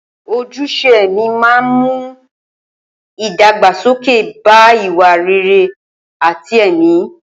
Ojúṣe ẹ̀mí máa ń mú ìdàgbàsókè bá ìwà rere àti ẹ̀mí.